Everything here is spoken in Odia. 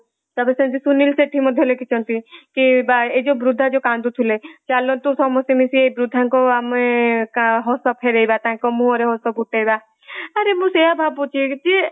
ତାପରେ ସେମିତି ସୁନୀଲ ଶେଠୀ ମଧ୍ୟ ଲେଖିଛନ୍ତି କି ବା ୟେ ବୃଦ୍ଧା ଯୋଉ କାନ୍ଦୁଥିଲେ ଚଲାନ୍ତୁ ସମସ୍ତେ ମିଶି ବୃଦ୍ଧାଙ୍କୁ ଆମେ ହସ ଫେରେଇବା ତାଙ୍କ ମୁହଁ ରେ ହସ ଫୁଟେଇବା। ଆରେ ମୁଁ ସେଇଆ ଭାବୁଛି ଯେ